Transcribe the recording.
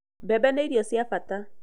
Mbembe nĩ irio cia bata